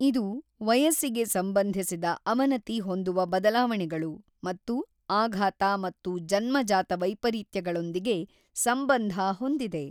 ಇದು ವಯಸ್ಸಿಗೆ ಸಂಬಂಧಿಸಿದ ಅವನತಿ ಹೊಂದುವ ಬದಲಾವಣೆಗಳು ಮತ್ತು ಆಘಾತ ಮತ್ತು ಜನ್ಮಜಾತ ವೈಪರೀತ್ಯಗಳೊಂದಿಗೆ ಸಂಬಂಧ ಹೊಂದಿದೆ.